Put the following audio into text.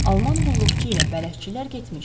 Alman qulluqçu ilə bələdçilər getmişdi.